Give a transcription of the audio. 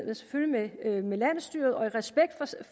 med landsstyret og i respekt